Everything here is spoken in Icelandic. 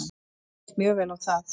Mér líst mjög vel á það.